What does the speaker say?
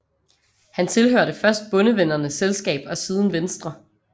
Han tilhørte først Bondevennernes Selskab og siden Venstre